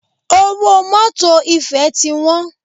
Owó mọ́tọ̀ ìfẹ́ ti wọ́n.